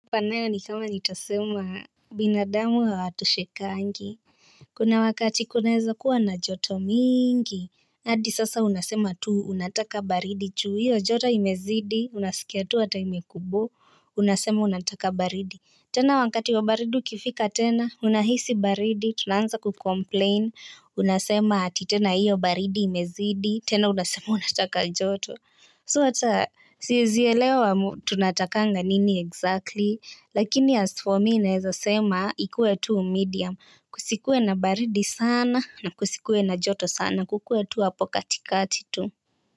Hata nayo ni kama nitasema binadamu hawatoshekangi. Kuna wakati kunaeza kuwa na joto mingi hadi sasa unasema tu unataka baridi juu hiyo joto imezidi unasikia tu hata imekubo unasema unataka baridi. Tena wakati wa baridi ukifika tena unahisi baridi tunaanza kucomplain unasema ati tena hiyo baridi imezidi tena unasema unataka joto So hata siezi elewa tunatakanga nini exactly lakini as for me naeza sema ikue tu medium kusikue na baridi sana na kusikue na joto sana kukue tuu hapo katikati tuu.